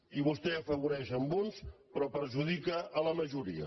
i vostè n’afavoreix uns però perjudica la majoria